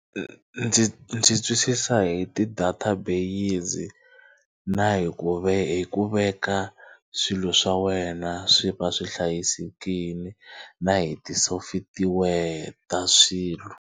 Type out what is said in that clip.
Ndzi ndzi twisisa hi ti-data base na hi ku hi ku veka swilo swa wena swi va swi hlayisekile na hi ti-software ta swilo.